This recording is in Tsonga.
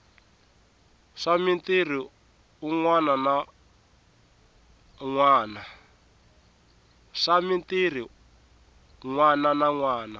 swa mitirhi u nwananwana